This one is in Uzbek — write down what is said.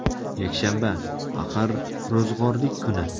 Yakshanba, axir, ro‘zg‘orlik kuni.